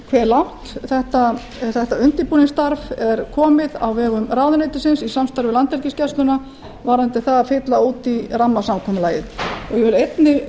hve langt þetta undirbúningsstarf er komið á vegum ráðuneytisins í samstarfi við landhelgisgæsluna varðandi það að fylla út í rammasamkomulagið ég vil